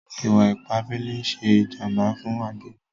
Ìwà-ìpà àbẹlè n ṣè jàmbà fún àgbègbè.